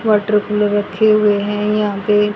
Water cooler रखे हुए हैं यहां पे।